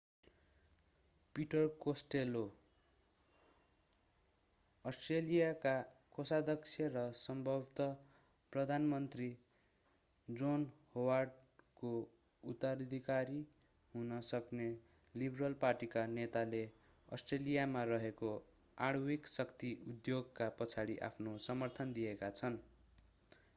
Peter Costello अस्ट्रेलियाका कोषाध्यक्ष र सम्भवतः प्रधानमन्त्री जोन होवार्डको उत्तराधिकारी हुन सक्ने लिबरल पार्टीका नेताले अस्ट्रेलियामा रहेको आणविक शक्ति उद्योगका पछाडि आफ्नो समर्थन दिएका छन्